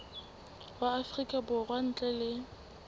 wa afrika borwa ntle le